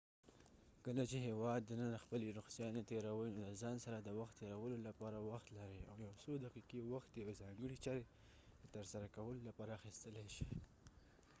کله چې د هیواد دننه خپلې رخصیانې تیروۍ نو د ځان سره د وخت تیرولو لپاره وخت لرۍ او یو څودقیقې وخت د یو ځانګړې چارې د ترسره کولو لپاره اخیستلای شئ